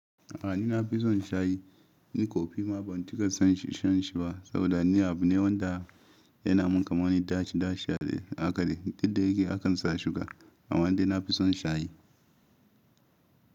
A ni na fi son shayi, ni ko fi abun da kasan shan shi ba saboda ni abu ne wanda yana mun kamar wani ɗaci ɗaci a akale. Didde yake akan sa sugar amma dai na fi son shayi.